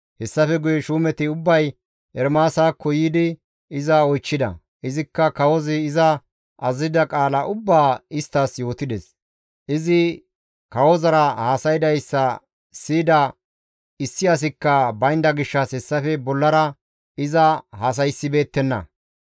Hessafe guye shuumeti ubbay Ermaasakko yiidi iza oychchida; izikka kawozi iza azazida qaala ubbaa isttas yootides. Izi kawozara haasaydayssa siyida issi asikka baynda gishshas hessafe bollara iza haasayssibeettenna.